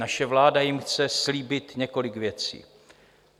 naše vláda jim chce slíbit několik věcí.